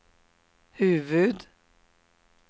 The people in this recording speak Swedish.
huvud-